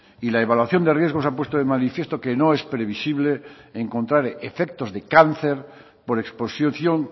y la evaluación de riesgos ha puesto de manifiesto que no es previsible encontrar efectos de cáncer por exposición